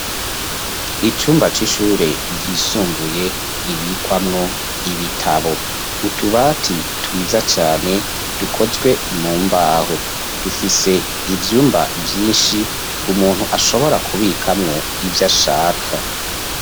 Icumba, c'ishure ryisumbuye, ribikwamwo ibitabo; utubati, twiza cane, dukozwe mu mbaho; dufise ivyumba, vyinshi, umuntu ashobora, kubikamwo, ivyo ashaka.